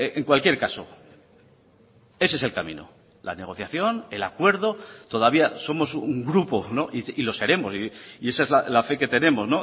en cualquier caso ese es el camino la negociación el acuerdo todavía somos un grupo y lo seremos y esa es la fe que tenemos